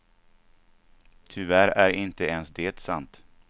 Tyvärr är inte ens det sant.